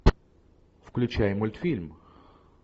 включай мультфильм